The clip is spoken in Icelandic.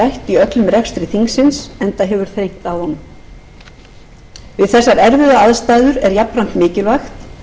í öllum rekstri þingsins enda hefur þrengt að honum við þessar erfiðu aðstæður er jafnframt mikilvægt